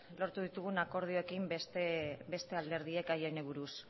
lortu ditugun akordioekin beste alderdiek gai honi buruz